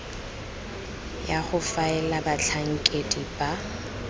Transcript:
ya go faela batlhankedi ba